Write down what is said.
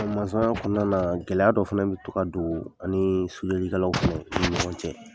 kɔnɔna gɛlɛya dɔ fɛnɛ bi to ka don, an ni fɛnɛ, an ni ɲɔgɔn cɛ.